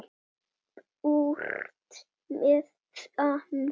Burt með það.